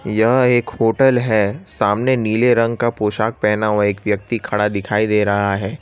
यह एक होटल है सामने नीले रंग का पोशाक पहना हुआ एक व्यक्ति खड़ा दिखाई दे रहा है।